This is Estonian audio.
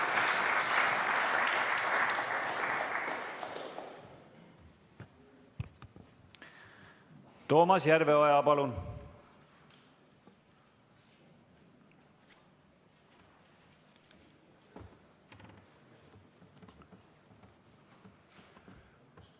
Toomas Järveoja, palun!